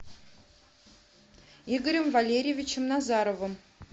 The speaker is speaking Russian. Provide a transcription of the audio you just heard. игорем валерьевичем назаровым